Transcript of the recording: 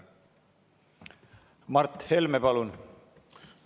Mart Helme, palun!